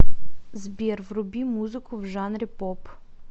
сбер вруби музыку в жанре поп